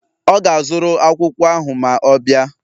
Ọ ga-azụrụ akwụkwọ ahụ ma ọ bịa